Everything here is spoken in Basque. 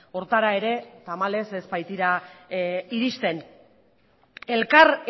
horretara ere tamalez ez baitira iristen elkar